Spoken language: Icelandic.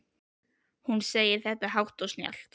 Hún segir þetta hátt og snjallt.